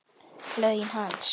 Laun hans?